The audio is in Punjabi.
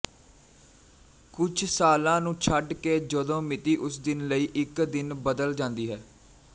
ਕੁਝ ਸਾਲਾਂ ਨੂੰ ਛੱਡ ਕੇ ਜਦੋਂ ਮਿਤੀ ਉਸ ਦਿਨ ਲਈ ਇੱਕ ਦਿਨ ਬਦਲ ਜਾਂਦੀ ਹੈ